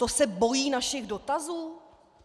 To se bojí našich dotazů?